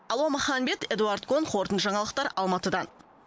алуа маханбет эдуард кон қорытынды жаңалықтар алматыдан